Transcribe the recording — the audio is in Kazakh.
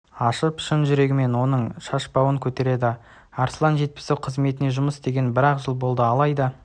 ашып шын жүрегімен оның шашбауын көтереді арслан жетпісов қызметте жұмыс істегеніне бір-ақ жыл болды алайда